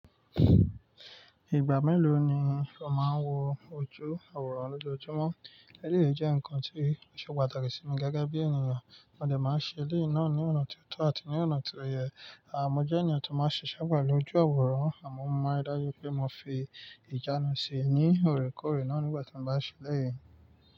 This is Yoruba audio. Ìgbà mélòó ni o máa ń wo ojú aworan lójoojúmọ́? Ẹ̀leyi èyí jẹ́ ǹkan tí ṣe pàtàkì sí mi gẹ́gẹ́ bí ènìyàn, mo dẹ̀ máa ń ṣe lẹ́ẹ̀ náà ní ọ̀nà tó tọ́ àti ní ọ̀nà tó ye. A mo jẹ́ ènìyàn tó máa ń ṣiṣẹ̀ pelu óju awọ́rán àmọ́ mo maa n ri dájú pé mo fi ìjánu ṣi ní òrèkóòrè náà nígbà tí mo bá ṣe elẹ́yi.